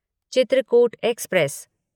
Chitrakoot express